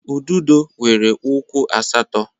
Ududo nwere ụkwụ asatọ